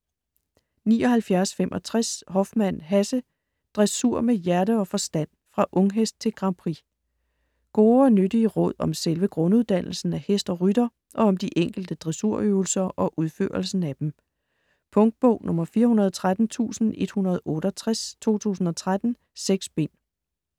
79.65 Hoffmann, Hasse: Dressur med hjerte og forstand: fra unghest til Grand Prix Gode og nyttige råd om selve grunduddannelsen af hest og rytter og om de enkelte dressurøvelser og udførelsen af dem. Punktbog 413168 2013. 6 bind.